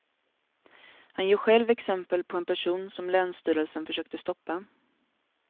Han ger själv exempel på en person som länsstyrelsen försökte stoppa.